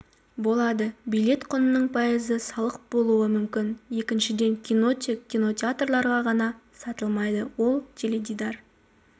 болады билет құнының пайызы салық болуы мүмкін екіншіден кино тек кинотеатрларда ғана сатылмайды ол теледидар